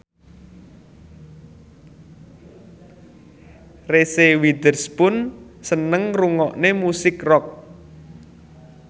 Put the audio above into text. Reese Witherspoon seneng ngrungokne musik rock